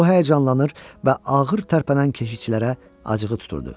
O həyəcanlanır və ağır tərpənən keşişçilərə acığı tuturdu.